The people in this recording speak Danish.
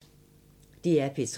DR P3